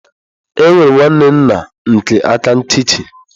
Enwere m nwanne nna nke aka nchichi.